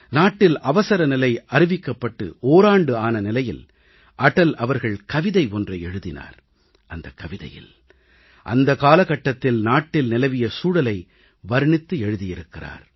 நாட்டில் அவசரநிலை அறிவிக்கப்பட்டு ஓராண்டு ஆன நிலையில் அடல் அவர்கள் கவிதை ஒன்றை எழுதினார் அந்தக் கவிதையில் அந்த காலகட்டத்தில் நாட்டில் நிலவிய சூழலை வர்ணித்து எழுதியிருந்தார்